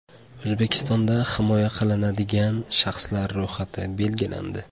O‘zbekistonda himoya qilinadigan shaxslar ro‘yxati belgilandi.